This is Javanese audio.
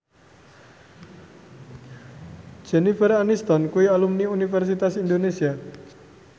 Jennifer Aniston kuwi alumni Universitas Indonesia